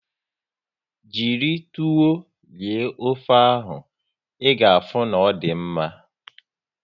Jiri tuwo rie ofe ahụ, ị ga afụ na ọ dị mma